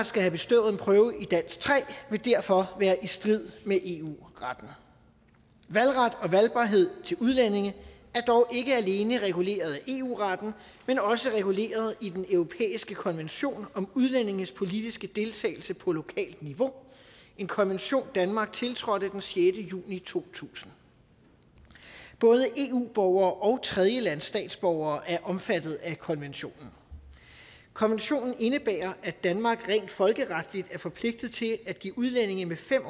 skal have bestået en prøve i dansk tre vil derfor være i strid med eu retten valgret og valgbarhed til udlændinge er dog ikke alene reguleret af eu retten men også reguleret i den europæiske konvention om udlændinges politiske deltagelse på lokalt niveau en konvention danmark tiltrådte den sjette juni to tusind både eu borgere og tredjelandsstatsborgere er omfattet af konventionen konventionen indebærer at danmark rent folkeretligt er forpligtet til at give udlændinge med fem